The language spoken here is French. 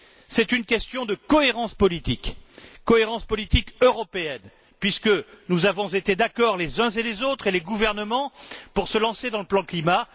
C'est une question de cohérence politique cohérence politique européenne puisque nous avons été d'accord les uns et les autres, et les gouvernements, pour se lancer dans le plan climat.